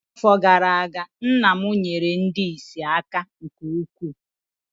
N’afọ gara aga, nna m nyeere ndị ìsì aka nke ukwuu